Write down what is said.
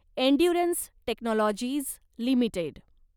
endurance technologies limited